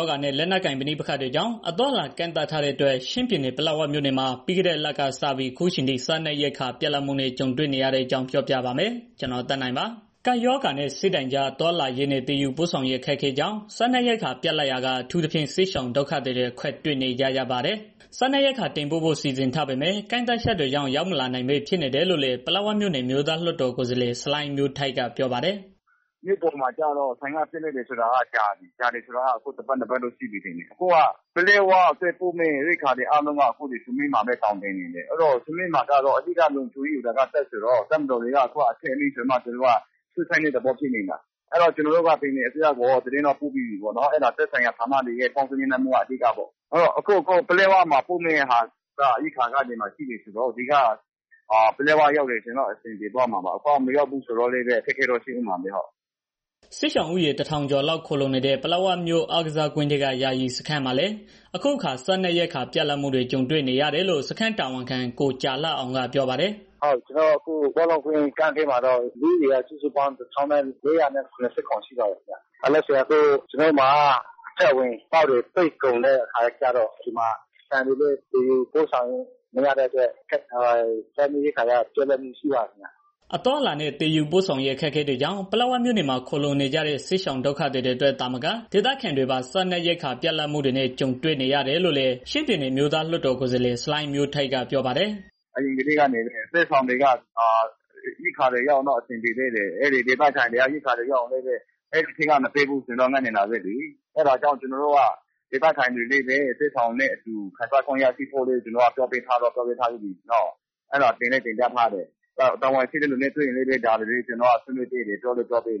ောဂါနဲ့ လက်နက်ကိုင် ပဋိပက္ခတွေကြောင့် အသွားအလာ ကန့်သတ်ထားတဲ့အတွက် ချင်းပြည်နယ် ပလက်ဝမြို့နယ်မှာ ပြီးခဲ့တဲ့လကစပြီး အခုအထိ စားနပ်ရိက္ခာ ပြတ်လပ်မှုနဲ့ ကြုံနေရတဲ့ အကြောင်းပြောပြပါမယ်။ ဗွီအိုအေမြန်မာပိုင်းသတင်းထောက် ကိုသက်နိုင်ကတင်ပြထားပါတယ်။ ကပ်ရောဂါနဲ့ စစ်ဘေးဒဏ်ကြား သွားလာရေးနဲ့ သယ်ယူပို့ဆောင်ရေး အခက်အခဲကြောင့် စားနပ်ရိက္ခာ ပြတ်လပ်ရာက အထူးသဖြင့် စစ်ရှောင်ဒုက္ခသည်တွေ အခက်တွေ့နေကြပါတယ်။ စားနပ်ရိက္ခာ တင်ပို့ဖို့ စီစဉ်ထားပေမဲ့ ကန့်သတ်ချက်တွေကြောင့် ရောက်မလာနိုင်ပဲ ဖြစ်နေတယ်လို့လည်း ပလက်ဝမြို့နယ် အမျိုးသားလွှတ်တော်ကိုယ်စားလှယ် ဆလိုင်းမျိုးထိုက် ကပြောပါတယ်။ "မြို့ပေါ်မှာ ဆန်တွေ ပြတ်လပ်နေတာက ကြာပါပြီ။ အခုဆိုရင် တစ်ပတ်နှစ်ပတ်လောက် တော့ရှိပြီး ထင်တယ်။ ပလက်ဝအတွက် ပို့မယ့် ရိက္ခာတွေက အခုက ဆမီးမှာပဲသောင်တင်နေတယ်။ အခုက ဆမီးမှာက လုံခြုံရေးယူထားတာက တပ်ဆိုတော့ သူတို့မှာလည်း အထက်အမိန့်ရမှာ ရွှေ့ဆိုင်းတဲ့ သဘောဖြစ်နေတယ်။ ကျနော်တို့ကတော့ ပြည်နယ်အစိုးရကို သတင်းတော့ ပို့ထားပြီးပါပြီ။ အဲဒါက သက်ဆိုင်ရာဌာနတွေရဲ့ ပေါင်းစည်းညှိနှိုင်း မှုကတော့ အဓိကပေါ့။ ပလက်ဝအတွက် ရိက္ခာက ရှိနေပြီး ရောက်သွားရင်တော့ အဆင်ပြေသွားမှာပါ အခုက မရောက်ဘူးဆိုတော့ ခက်ခဲနေကြတာပေါ့။" စစ်ရှောင်ဦးရေ ၁,၀၀၀ ကျော်လောက် ခိုလှုံနေတဲ့ ပလက်ဝမြို့ အားကစားကွင်းထဲက ယာယီစခန်းမှာလည်း အခုအခါ စားနပ်ရိက္ခာ ပြတ်လပ်မှုတွေ ကြုံတွေ့နေရတယ်လို့ စခန်းတာဝန်ခံ ကိုကြာလှအောင်ကပြောပါတယ်။ "ကျနော်တို့အခု ဘောလုံးကွင်းကန့်ထဲမှာတော့ လူဦးရေက ၁,၀၀၀ ကျော်ရှိပါတယ်။ အခုက ကျနော်တို့မှာ အထွက်အဝင် ဂိတ်တွေပိတ်ကုန်တဲ့ အခါကျတော့ ဆန်တွေလည်း သယ်ယူပို့ဆောင်လို့မရတဲ့ အတွက် စားနပ်ရိက္ခာက ပြတ်လပ်မှုတွေ ရှိပါတယ်ခင်ဗျာ။" အသွားအလာနဲ့ သယ်ယူပို့ဆောင်ရေး အခက်အခဲတွေကြောင့် ပလက်ဝမြို့နယ်မှာ ခိုလှုံနေကြတဲ့ စစ်ရှောင်ဒုက္ခသည်တွေအတွက်သာမက ဒေသခံတွေပါ ရိက္ခာပြတ်လပ်မှုနဲ့ ကြုံနေရတယ်လို့လည်း ချင်းပြည်နယ်အမျိုးသားလွှတ်တော်ကိုယ်စားလှယ် ဆလိုင်းမျိုးထိုက်ကပြောပါတယ်။ "စစ်ရှောင်တွေက ရိက္ခာတွေ ရောက်ရင်တော့ အဆင်ပြေသေးတယ်။ ဒေသခံတွေက ရိက္ခာတွေ ရောက်ရင်လည်းပဲ အဲဒီထဲက မပေးဘူးဆိုတော့ ငတ်နေတာပဲလေ။ အဲဒါကြောင့် ကျနော်တို့က ဒေသခံတွေလည်းပဲ စစ်ရှောင်တွေနဲ့ အတူခံစားခွင့်ရရှိဖို့ ကျနော်ကတော့ ပြောပေးထားပြီးပြီ။ တာဝန်ရှိတဲ့ သူတွေနဲ့ တွေ့ရင်လည်း ဆွေးနွေးဖြစ်ပါတယ်။"